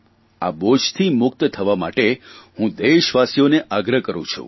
આ બોજથી મુક્ત થવા માટે દેશવાસીઓને આગ્રહ કરૂં છું